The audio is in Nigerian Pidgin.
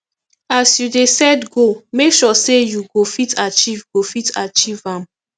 as you dey set goal make sure sey you go fit achieve go fit achieve am